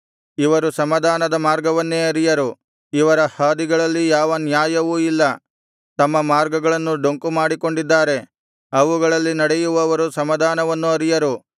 ಇವರು ಸಮಾಧಾನದ ಮಾರ್ಗವನ್ನೇ ಅರಿಯರು ಇವರ ಹಾದಿಗಳಲ್ಲಿ ಯಾವ ನ್ಯಾಯವೂ ಇಲ್ಲ ತಮ್ಮ ಮಾರ್ಗಗಳನ್ನು ಡೊಂಕು ಮಾಡಿಕೊಂಡಿದ್ದಾರೆ ಅವುಗಳಲ್ಲಿ ನಡೆಯುವವರು ಸಮಾಧಾನವನ್ನು ಅರಿಯರು